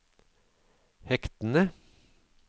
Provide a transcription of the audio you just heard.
hektene